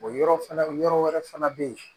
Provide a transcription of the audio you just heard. O yɔrɔ fana yɔrɔ wɛrɛ fana bɛ yen